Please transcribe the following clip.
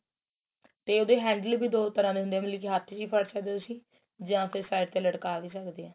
ਤੇ ਉਹਦੇ handle ਵੀ ਦੋ ਤਰਾਂ ਦੇ ਹੁੰਦੇ ਏ ਮਤਲਬ ਕੀ ਹੱਥ ਚ ਵੀ ਫੜ ਸਕਦੇ ਓ ਤੁਸੀਂ ਜਾਂ ਫੇਰ side ਤੇ ਲਟਕਾ ਵੀ ਸਕਦੇ ਆ